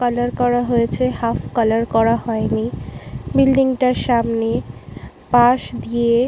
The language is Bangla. কালার করা হয়েছে হাফ কালার করা হয়নি বিল্ডিং টার সামনে পাস্ দিয়ে --